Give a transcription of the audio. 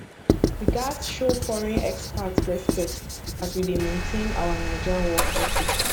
we gats show foreign expat respect as we dey maintain our naija work ethic